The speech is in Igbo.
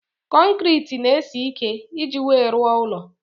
Konkiriti n'esi ike iji wee rụọ ụlọ